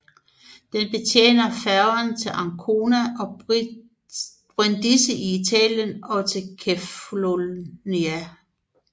Den betjener færger til Ancona og Brindisi i Italien og til Kefalonia